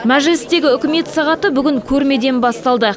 мәжілістегі үкімет сағаты бүгін көрмеден басталды